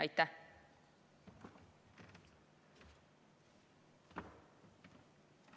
Aitäh!